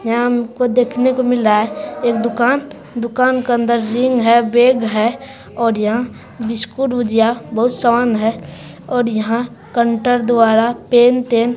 यहाँ हमको देखने को मिल रहा है एक दुकान। दुकान के अंदर रिंग है बैग है और यहाँ बिस्कुट भुजिआ बहुत सामान है और यहाँ कंटर द्वारा पेन तेन--